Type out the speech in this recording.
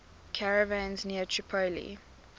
caravans near tripoli